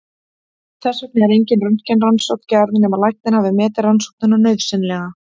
Þess vegna er engin röntgenrannsókn gerð nema læknir hafi metið rannsóknina nauðsynlega.